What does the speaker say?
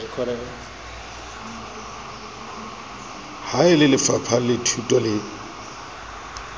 ha e lelefapha lathuto le